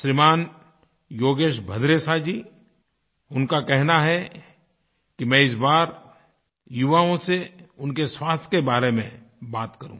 श्रीमान योगेश भद्रेशा जी उनका कहना है कि मैं इस बार युवाओं से उनके स्वास्थ्य के बारे में बात करूँ